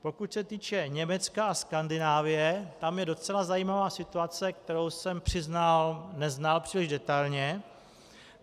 Pokud se týče Německa a Skandinávie, tam je docela zajímavá situace, kterou jsem přiznal, neznal příliš detailně.